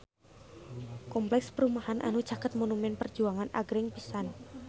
Kompleks perumahan anu caket Monumen Perjuangan agreng pisan